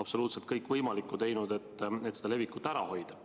absoluutselt kõik võimaliku teinud, et nakkuse levikut ära hoida.